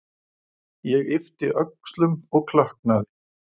Ég yppti öxlum og klökknaði.